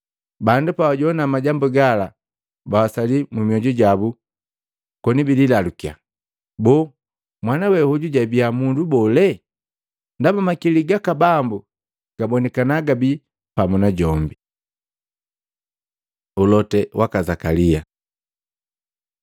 Bandu pabajoana majambu gala bawasaliya mmyoju jabu koni bikililalukya, “Boo mwana we hoju jibiya mundu bole?” Ndaba makili gaka Bambu gabonikana gabi pamu najombi. Ulote waka Zakalia